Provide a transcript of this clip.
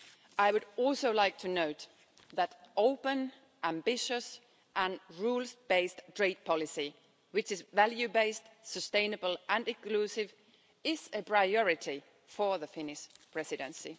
I would also like to note that open, ambitious and rules based trade policy which is value based, sustainable and inclusive is a priority for the Finnish Presidency.